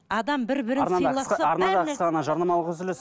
адам бір бірін жарнамалық үзіліс